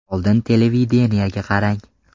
Oldin televideniyega qarang.